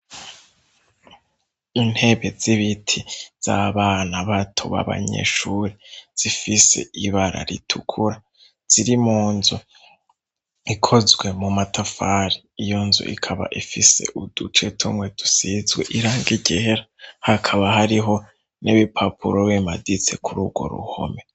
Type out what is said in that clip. Intebe z'ibiti z'abana bato b'abanyeshuri, zifise ibara ritukura. Ziri mu nzu ikozwe mu matafari. Iyo nzu ikaba ifise uduce tumwe dusizwe irangi ryera, hakaba hariho n'ibipapuro bimaditse kuri urwo ruhome.